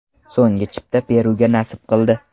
So‘nggi chipta Peruga nasib qildi.